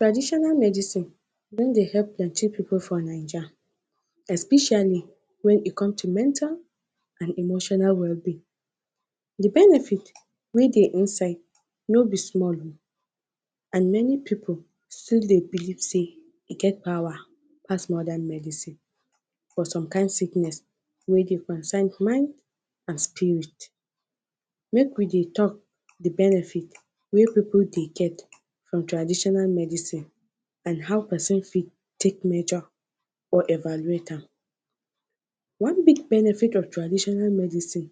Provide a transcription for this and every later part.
Traditional medicine don dey help plenty pipu for ninja. Especially when e comes to mental, and emotional well being. De benefit wey de inside no be small o and many pipu still de believe sey e get power pass modern medicine for some kind sickness wey de concern mind and spirit. Make we de talk de benefit wey pipu dey get from traditional medicine and how person fit take majors or evaluate am. one big benefit of traditional medicine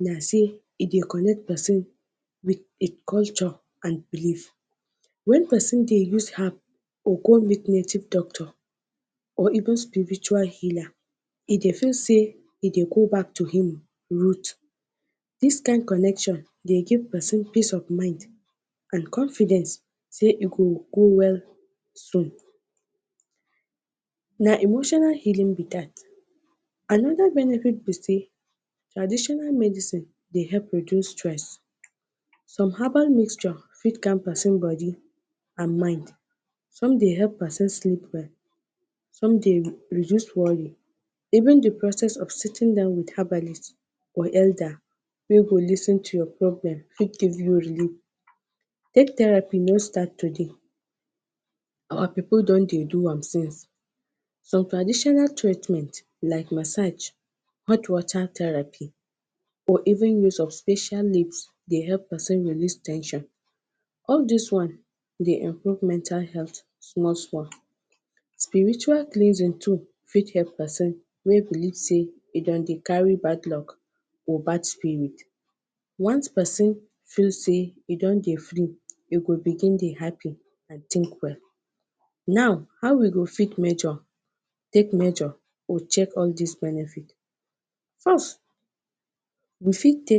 na sey e de connect person with culture and believe, when person de use herb or go meet native doctors or even spiritual healer e dey feel sey e de go back to him root. this kind connection de give person peace of mind and confidence sey e go go well so na emotional healing be dat. Another benefit be sey traditional medicine de help reduce stress some herbal mixture fix calm person body and mind, some de help person sleep well, some de reduce worry even de process of seating down with herbalist or elder wey go lis ten to your problem fit give you relieve take therapy no start today our pipu don de do am since. some traditional treatment like massage, hot water therapy or even use of special leaf de help person release ten sion all this ones de improve mental health small small spiritual cleansing too fit help person wey believe sey dem dey carry bad luck or bad spirit once person feel sey e don dey free e go begin de happy and think well. now how we go fit measure, take measure or check all this benefit. First we fit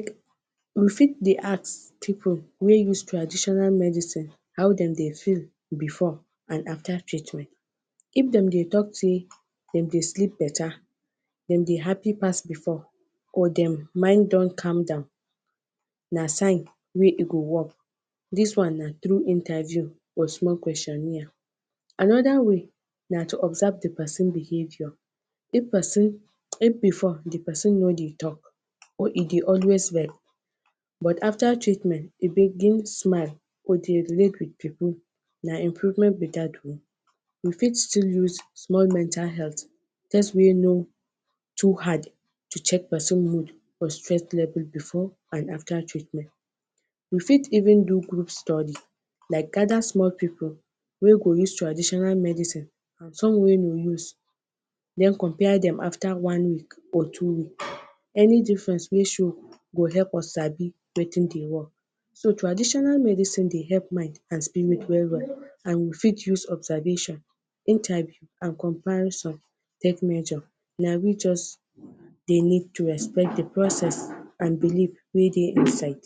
de ask pipu wey use traditional medicine how dem de feel before and at that treatment if dem dey talk say dem de sleep beta dem de happy pass before or dem mind don calm down na sign wey e go work this one na through interview and small questionnaire. Another way na to observe de person behavior if person if before d person no de talk or e de always vex but after treatment e de begin smile or de relate with pipu na improvement be dat o we fit still use small mental health, person wey no too hard to check person mood or stress level before and after treatment. we fit even do group study like gather small pipu wey go use traditional medicine and some wey go use den compare dem after one week or two any difference wey show go help us sabi de thing de work so traditional medicine de help mind and spirit well well and we fit use observation, interview and compile some tech measure na we just need to respect d process and believe wey dey inside.